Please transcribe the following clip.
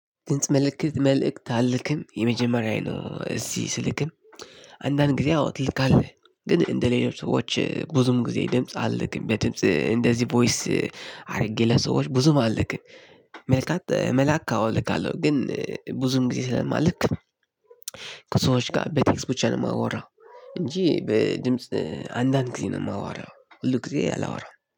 ድምጽ ምልክት መልእክት አልክም የመጀመሪያዬ ነው እዚህ ስልክም። አንዳንድ ጊዜ አዎ ትልካለህ ግን እንደ ሌሎች ሰዎች ብዙም ጊዜ ድምጽ አልክም በድምጽ እንደዚህ ቮይስ አድርጌ ለሰዎች ብዙም አልክም። መልካት መላክ አዎ እልካለሁ ግን ብዙም ጊዜ ስለማልክ። ከሰዎች ጋር በቴክስት ብቻ ነው የማወራው። እንጂ በድምጽ አንዳንድ ጊዜ ነው የማወራው ሁል ጊዜ አላወራም